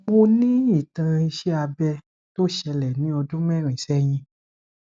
mo ní ìtàn iṣé abẹ tó ṣẹlẹ ní ọdún mẹrin sẹyìn